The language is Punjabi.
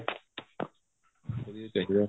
ਵਧੀਆ ਹੀ ਚਾਹੀਦਾ